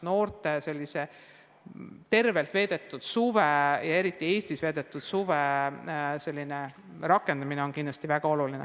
Noorte võimalused veeta suvi tervislikult ja teha seda just Eestis on kindlasti väga olulised.